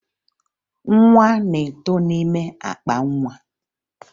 Nwa na-eto n'ime akpa nwa